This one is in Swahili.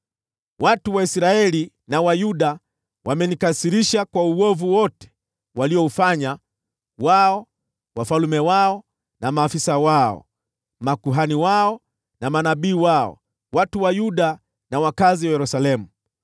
Watu wa Israeli na wa Yuda wamenikasirisha kwa uovu wote waliofanya: wao, wafalme wao na maafisa wao, makuhani wao na manabii wao, watu wa Yuda na wakazi wa Yerusalemu.